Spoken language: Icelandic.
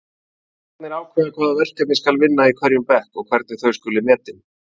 Kennararnir ákveða hvaða verkefni skal vinna í hverjum bekk og hvernig þau skuli metin.